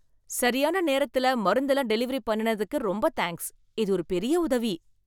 சரியான நேரத்துல மருந்தெல்லாம் டெலிவரி பண்ணுனதுக்கு ரொம்ப தேங்க்ஸ். இது ஒரு பெரிய உதவி.